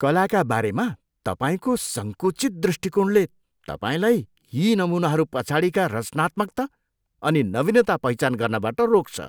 कलाका बारेमा तपाईँको सङ्कुचित दृष्टिकोणले तपाईँलाई यी नमुनाहरू पछाडिका रचनात्मकता अनि नवीनता पहिचान गर्नबाट रोक्छ।